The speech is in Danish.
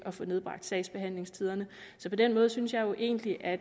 få nedbragt sagsbehandlingstiderne så på den måde synes jeg jo egentlig at